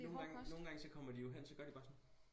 Nogen gange nogen gange så kommer de jo hen så gør de bare sådan